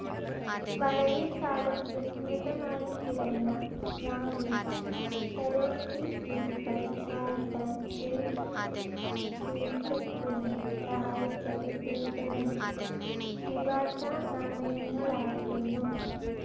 വളരെക്കാലം വിസ്മൃതമായിക്കിടന്ന ബ്രാഹ്മി, ഖരോഷ്ഠി ലിപികൾ വായിക്കാൻ ജെയിംസ് പ്രിൻസെപ്പിനെ സഹായിച്ചത് ഏതാനും ദ്വിഭാഷ നാണയങ്ങളായിരുന്നു.